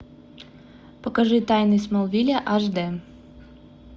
покажи тайны смолвиля аш д